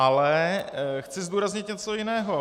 Ale chci zdůraznit něco jiného.